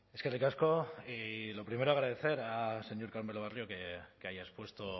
eskerrik asko lo primero agradecer al señor carmelo barrio que haya expuesto